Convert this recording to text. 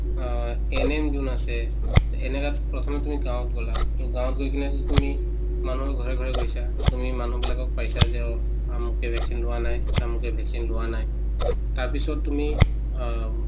অ, ANM যোন আছে তে এনেকাত প্ৰথমে তুমি গাঁৱত গলা to গাঁৱত গৈ কিনে যদি তুমি মানুহৰ ঘৰে ঘৰে গৈছা to তুমি মানুহবিলাকক পাইছা যে অ আমুকে vaccine লোৱা নাই তামুকে vaccine লোৱা নাই তাৰপিছত তুমি অ উম